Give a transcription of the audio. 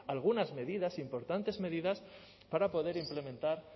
algunas medidas importantes medidas